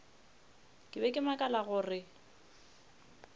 ke be ke makala gore